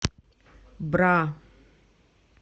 бра